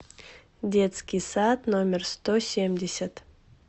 детский сад номер сто семьдесят